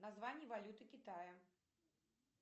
название валюты китая